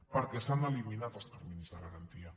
perquè s’han eliminat els terminis de garantia